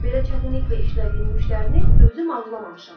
Belə çətinliklə işlədiyim müştərini özüm arzulamamışam.